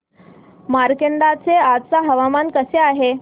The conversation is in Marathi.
मार्कंडा चे आजचे हवामान कसे आहे